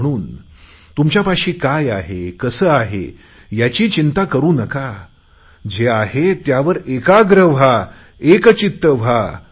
म्हणून तुमच्यापाशी काय आहे कसे आहे याची चिंता करु नका जे आहे त्यावर एकाग्र व्हा एकचित्त व्हा